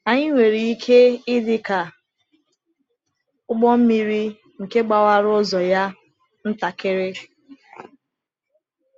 Anyị nwere ike ịdị ka ụgbọ mmiri nke gbawara ụzọ ya ntakịrị.